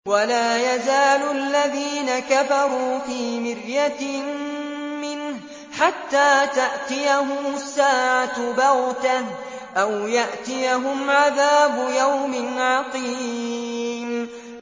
وَلَا يَزَالُ الَّذِينَ كَفَرُوا فِي مِرْيَةٍ مِّنْهُ حَتَّىٰ تَأْتِيَهُمُ السَّاعَةُ بَغْتَةً أَوْ يَأْتِيَهُمْ عَذَابُ يَوْمٍ عَقِيمٍ